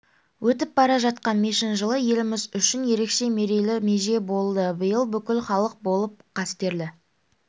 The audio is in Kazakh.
өтіп бара жатқан мешін жылы еліміз үшін ерекше мерейлі меже болды биыл бүкіл халық болып қастерлі